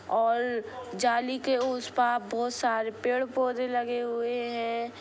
और जाली के उस पार बहुत सारे पेड़ पोंधे लगे हुए है।